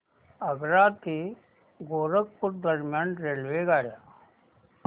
आग्रा ते गोरखपुर दरम्यान रेल्वेगाड्या